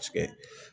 Paseke